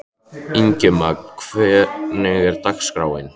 Ingimagn, hvernig er dagskráin?